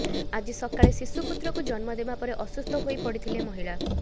ଆଜି ସକାଳେ ଶିଶୁ ପୁତ୍ରକୁ ଜନ୍ମ ଦେବା ପରେ ଅସୁସ୍ଥ ହୋଇ ପଡିଥିଲେ ମହିଳା